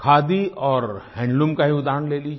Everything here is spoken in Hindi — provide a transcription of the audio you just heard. खादी और हैंडलूम का ही उदाहरण ले लीजिए